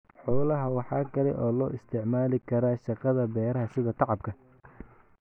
Xoolaha waxa kale oo loo isticmaali karaa shaqada beeraha sida tacabka.